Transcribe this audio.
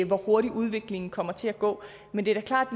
hvor hurtigt udviklingen kommer til at gå men det er klart